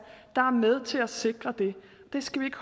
der er med til at sikre det det skal vi